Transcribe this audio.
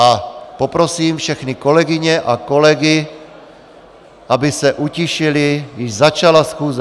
A poprosím všechny kolegyně a kolegy, aby se utišili, již začala schůze...